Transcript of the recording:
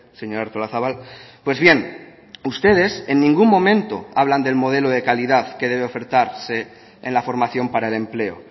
señora artolazabal pues bien ustedes en ningún momento hablan del modelo de calidad que debe ofertarse en la formación para el empleo